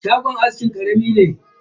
Shagon askin karami ne.